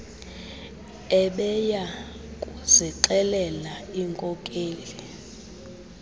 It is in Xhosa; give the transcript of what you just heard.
ebeya kuzixelela iinkokeli